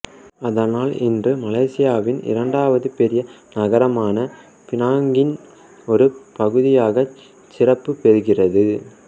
அதனால் இன்று மலேசியாவின் இரண்டாவது பெரிய நகரமான பினாங்கின் ஒரு பகுதியாகச் சிறப்பு பெறுகிறது